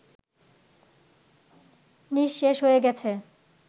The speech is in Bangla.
নিঃশেষ হয়ে গেছে